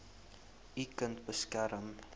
u kind beskerm